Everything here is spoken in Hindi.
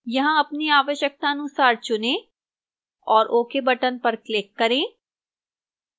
यहां अपनी आवश्यकतानुसार चुनें और ok button पर click करें